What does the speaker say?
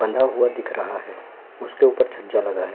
बंधा हुआ दिख रहा है उसके ऊपर जजा लगा है।